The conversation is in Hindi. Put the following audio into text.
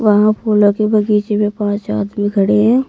वहां फूलों के बगीचे में पांच आदमी खड़े हैं।